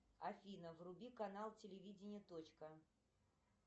афина вруби канал телевидения точка